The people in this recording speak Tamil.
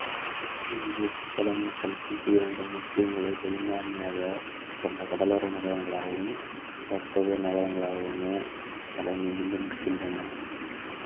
இன்று புத்தளம் கல்பிட்டி இரண்டும் முஸ்லிம்களைப் பெரும்பான்மையாகக் கொண்ட கடலோர நகரங்களாகவும் வர்த்தக நகரங்களாகவுமே தலைநிமிர்ந்து நிற்கின்றன